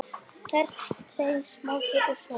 Mammút getur átt við um